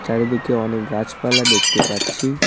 চারিদিকে অনেক গাছপালা দেখতে পাচ্ছি।